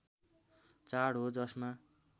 चाड हो जसमा